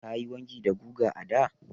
Ka yi wanki da guga a da?